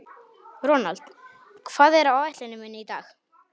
Ronald, hvað er á áætluninni minni í dag?